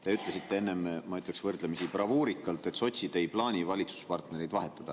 Te ütlesite enne, ma ütleksin, võrdlemisi bravuurikalt, et sotsid ei plaani valitsuspartnereid vahetada.